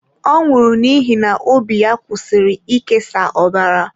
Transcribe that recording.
Ọ nwụrụ n'ihi na obi ya kwụsịrị ị kesa ọbara.